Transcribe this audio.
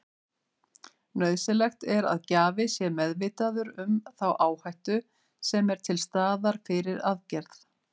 Nauðsynlegt er að gjafi sé meðvitaður um þá áhættu sem er til staðar fyrir aðgerð.